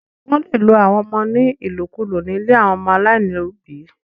Wó̩n le lo àwọn ọmọ ní ìlòkulò nílé àwọn ọmọ aláìníòbí